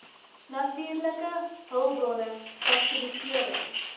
natuurlike hulpbronne fasilitering